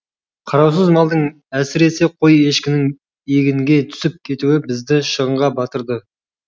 қараусыз малдың әсіресе қой ешкінің егінге түсіп кетуі бізді шығынға батырды